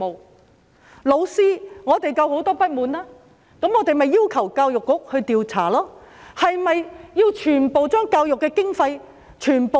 對於老師，我們同樣有很多不滿，於是我們便要求教育局調查，但是否要削減全部教育經費呢？